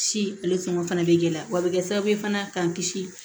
Ci ale sɔngɔ fana bɛ gɛlɛya wa a bɛ kɛ sababu ye fana k'an kisi